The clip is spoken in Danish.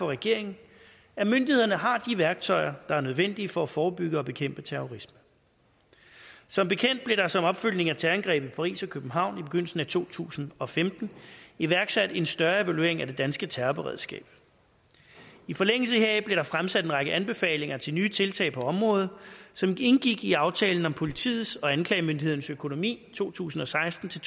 regeringen at myndighederne har de værktøjer der er nødvendige for at forebygge og bekæmpe terrorisme som bekendt blev der som opfølgning på terrorangrebene i paris og københavn i begyndelsen af to tusind og femten iværksat en større evaluering af det danske terrorberedskab i forlængelse heraf blev der fremsat en række anbefalinger til nye tiltag på området som indgik i aftalen om politiets og anklagemyndighedens økonomi to tusind og seksten til